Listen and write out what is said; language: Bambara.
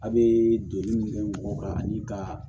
A' bee donni min kɛ mɔgɔ kan